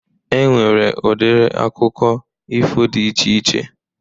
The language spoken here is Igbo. E nwere udiri akụkọ ifo dị iche iche.